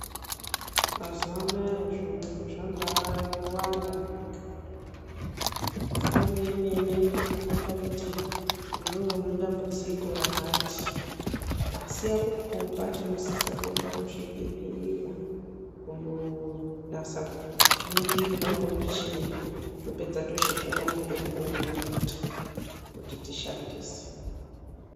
Mazuwanaya zviyungu zvabawanda munyika. Foni yemene inokukomba kuti iwewe une dambudziko rakati asi yakukomba tinosisa kuenda kuzvibhedhleya kundonasa kuningirwa ngomuchini topedza tochipuwa mutombo unoita kuti tishandise.